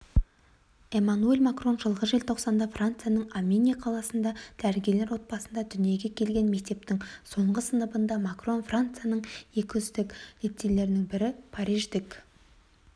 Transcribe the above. эммануэль макрон жылғы желтоқсанда францияның амьене қаласында дәрігерлер отбасында дүниеге келген мектептің соңғы сыныбында макрон францияның екі үздік лицейлерінің бірі париждік